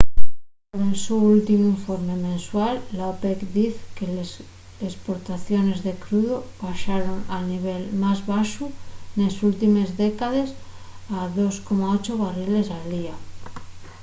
nel so últimu informe mensual la opec diz que les esportaciones de crudu baxaron al nivel más baxu nes últimes décades a 2,8 barriles al día